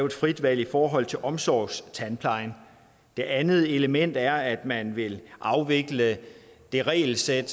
et frit valg i forhold til omsorgstandplejen det andet element er at man vil afvikle det regelsæt